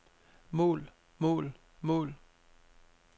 mål mål mål